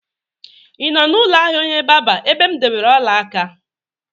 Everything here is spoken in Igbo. Ị nọ n'ụlọ ahịa onye barber ebe m debere ọla aka?